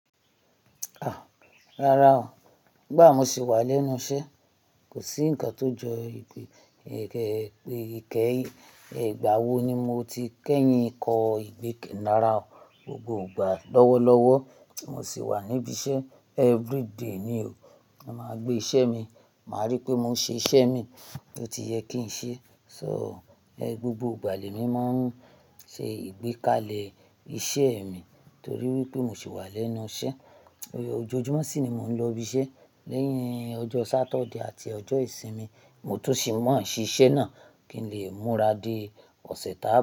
Ah! Rárá o, gbà mo sì wà lẹ́nu iṣẹ́, kò sí ǹkan tó jọ Ìgbẹ́, ègbà wo ni mo ti kẹ́yin ikọ̀ ìgbẹ́kẹ̀nára o. Gbogbo ìgbà lọ́wọ́lọ́wọ́ mo sì wà níbi iṣẹ́, everyday ni o, màá gbé iṣẹ́ mi, màá rí pé mò ń ṣe iṣẹ́ mi bí ó ti yẹ kí n ṣe. So, ẹ́, gbogbo ìgbàlè mi máa ń ṣe ìgbékalẹ̀ iṣẹ́ mi torí wípé mo sì wà lẹ́nu iṣẹ́. Ojoojúmọ́ sì ni mò ń lọ ibi iṣẹ́, lẹ́yìn ọjọ́ Saturday àti ọjọ́ ìsinmi mo tún sì máa ṣí iṣẹ́ náà kí n lè múra dé ọ̀sẹ̀ tàá.